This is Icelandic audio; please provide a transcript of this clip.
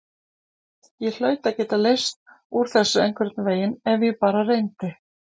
Ég hlaut að geta leyst úr þessu einhvern veginn ef ég bara reyndi.